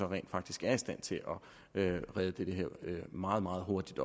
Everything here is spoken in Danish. rent faktisk er i stand til at redde det her meget meget hurtigt